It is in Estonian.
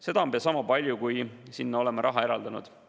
Seda on pea sama palju, kui oleme sinna raha eraldanud.